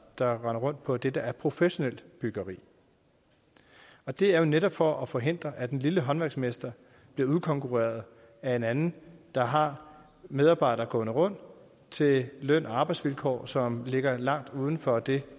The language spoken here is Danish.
der render rundt på det der er professionelt byggeri og det er jo netop for at forhindre at den lille håndværksmester bliver udkonkurreret af en anden der har medarbejdere gående rundt til løn og arbejdsvilkår som ligger langt uden for det